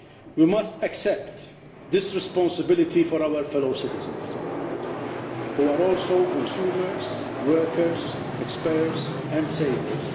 We must accept this responsibility for our fellow citizens, who are also consumers, workers, taxpayers and savers